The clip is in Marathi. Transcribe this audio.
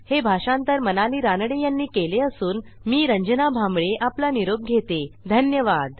हे भाषांतर मनाली रानडे यांनी केले असून मी रंजना भांबळे आपला निरोप घेतेधन्यवाद